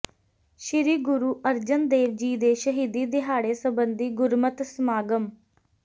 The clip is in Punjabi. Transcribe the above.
ਸ੍ਰੀ ਗੁਰੂ ਅਰਜਨ ਦੇਵ ਜੀ ਦੇ ਸ਼ਹੀਦੀ ਦਿਹਾੜੇ ਸਬੰਧੀ ਗੁਰਮਤਿ ਸਮਾਗਮ